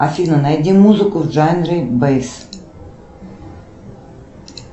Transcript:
афина найди музыку в жанре бейс